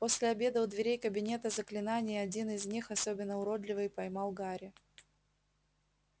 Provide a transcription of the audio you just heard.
после обеда у дверей кабинета заклинаний один из них особенно уродливый поймал гарри